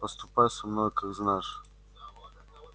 поступай со мной как знаешь